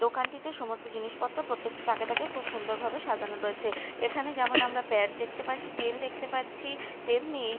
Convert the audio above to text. দোকানটিতে সমস্ত জিনিসপত্র প্রত্যেকটি তাকে তাকে খুব সুন্দর ভাবে সাজানো রয়েছে এখানে যেমন আমরা প্যাড দেখতে পাচ্ছি তেল দেখতে পাচ্ছি তেমনিই--